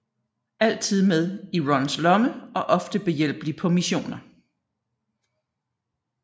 Altid med i Rons lomme og ofte behjælpelig på missioner